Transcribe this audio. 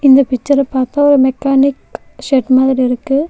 இந்த பிக்சர பாக்க மெக்கானிக் ஷெட் மாரி இருக்கு.